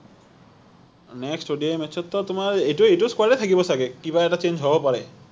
next ODI match ত টো তোমাৰ এইটো এইটো score এই থাকিব চাগে কিবা এটা change হব পাৰে